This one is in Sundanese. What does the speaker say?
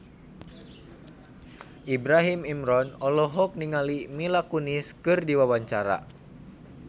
Ibrahim Imran olohok ningali Mila Kunis keur diwawancara